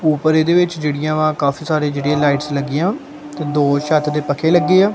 ਉੱਪਰ ਇਹਦੇ ਵਿੱਚ ਜਿਹੜੀਆਂ ਵਾ ਕਾਫੀ ਸਾਰੇ ਜਿਹੜੀਆਂ ਲਾਈਟਸ ਲੱਗੀਆਂ ਦੋ ਛੱਤ ਦੇ ਪੱਖੇ ਲੱਗੇ ਆ।